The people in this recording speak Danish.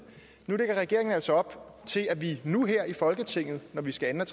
nu lægger regeringen altså op til at vi nu her i folketinget når vi skal anden og